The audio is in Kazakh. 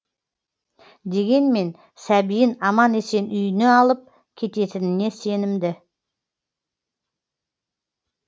дегенмен сәбиін аман есен үйіне алып кететініне сенімді